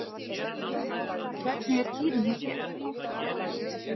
Hvernig er tíðin hjá þér?